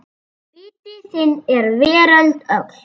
Biti þinn er veröld öll.